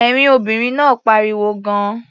Ẹ̀rín obìnrin náà pariwo gan-an.